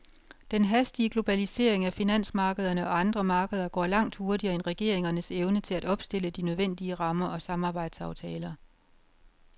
Den hastige globalisering af finansmarkederne og andre markeder går langt hurtigere end regeringernes evne til at opstille de nødvendige rammer og samarbejdsaftaler.